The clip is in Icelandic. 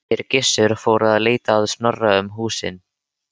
Þeir Gissur fóru að leita Snorra um húsin.